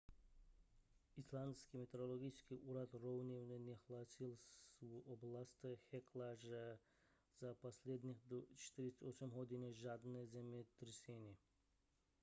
islandský meteorologický úřad rovněž nehlásil v oblasti hekla za posledních 48 hodin žádné zemětřesení